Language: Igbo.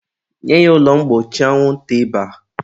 nye ya ụlọ mgbochi anwụnta maka ịba!.